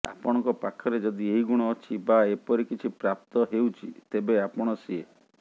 ଆପଣଙ୍କ ପାଖରେ ଯଦି ଏହି ଗୁଣ ଅଛି ବା ଏପରି କିଛି ପ୍ରାପ୍ତ ହେଉଛି ତେବେ ଆପଣ ସିଏ